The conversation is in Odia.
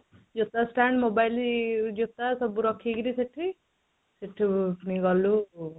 ଜୋତା stand mobile ଜୋତା ସବୁ ରଖିକିରି ସେଠି ସେଠୁ ପୁଣି ଗଲୁ